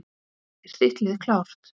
Er þitt lið klárt?